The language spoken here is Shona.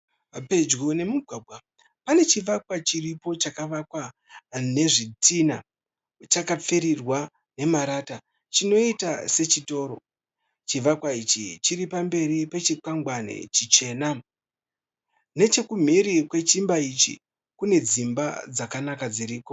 Pedyo nemugwagwa pane chivakwa chiripo chakavakwa nezvitinha chakapfirirwa nemarata, chinoita sechitoro. chivakwa ichi chiri pamberi pe chikwangwani chichena. Nechekumhiri kwechimba ichi kune dzimba dzakanaka dziriko.